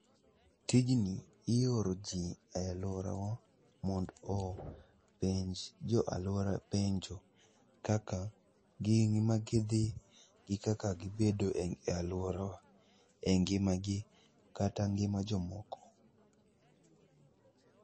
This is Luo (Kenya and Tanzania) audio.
Tijni ioro jii e alworawa mondo openj jo alwora penjo kaka gin magidhi gi kaka gibedo e alworawa e ngima gi kata ngima jomoko.